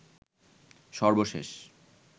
সর্বশেষ